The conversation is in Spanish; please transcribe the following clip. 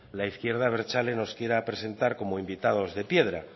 la izquierda abertzale nos quiera presentar como invitados de piedra